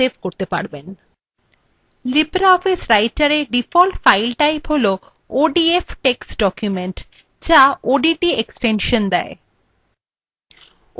libreoffice writer মধ্যে default file type হল odf text document the dot odt extension দেয়